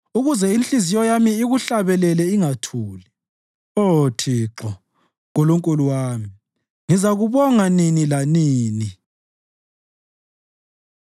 ukuze inhliziyo yami ikuhlabelele ingathuli. Oh Thixo, Nkulunkulu wami, ngizakubonga nini lanini.